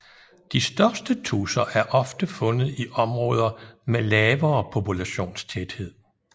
De største tudser er ofte fundet i områder med lavere populationstæthed